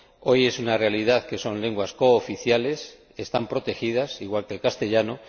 Hoy es una realidad y son lenguas cooficiales, están protegidas, igual que el castellano.